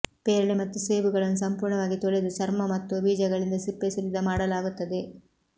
ಪೇರಳೆ ಮತ್ತು ಸೇಬುಗಳನ್ನು ಸಂಪೂರ್ಣವಾಗಿ ತೊಳೆದು ಚರ್ಮ ಮತ್ತು ಬೀಜಗಳಿಂದ ಸಿಪ್ಪೆ ಸುಲಿದ ಮಾಡಲಾಗುತ್ತದೆ